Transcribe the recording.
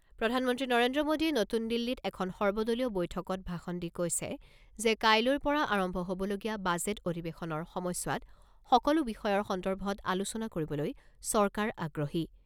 প্ৰধানমন্ত্ৰী নৰেন্দ্ৰ মোদীয়ে নতুন দিল্লীত এখন সৰ্বদলীয় বৈঠকত ভাষণ দি কৈছে যে, কাইলৈৰ পৰা আৰম্ভ হ'বলগীয়া বাজেট অধিৱেশনৰ সময়ছোৱাত সকলো বিষয়ৰ সন্দৰ্ভত আলোচনা কৰিবলৈ চৰকাৰ আগ্ৰহী।